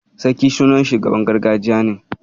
Sarki sunan shugaban gargajiya ne.